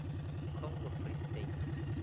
congo free state